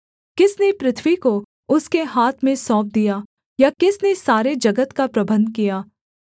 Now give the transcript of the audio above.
किसने पृथ्वी को उसके हाथ में सौंप दिया या किसने सारे जगत का प्रबन्ध किया